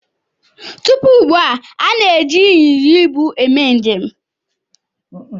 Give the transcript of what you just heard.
Tupu ugbu a, a na-eji ịnyịnya ibu eme njem.